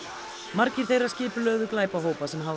margir þeirra skipulögðu glæpahópa sem hafa